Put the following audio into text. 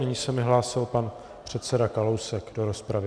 Nyní se mi hlásil pan předseda Kalousek do rozpravy.